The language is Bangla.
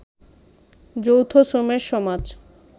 যৌথ শ্রমের সমাজ